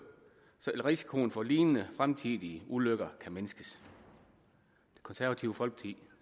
så risikoen for lignende fremtidige ulykker kan mindskes det konservative folkeparti